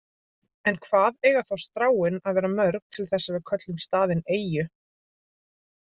En hvað eiga þá stráin að vera mörg til þess að við köllum staðinn eyju?